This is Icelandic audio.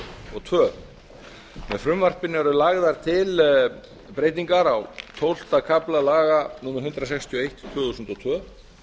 og tvö með frumvarpinu eru lagðar til breytingar á tólfta kafla laga númer hundrað sextíu og eitt tvö þúsund og tvö